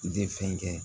I tɛ fɛn kɛ